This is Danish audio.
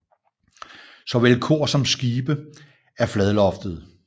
Såvel kor som skib er fladloftede